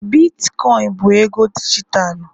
Bitkoin bụ ego dijitalụ